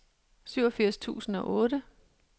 syvogfirs tusind og otte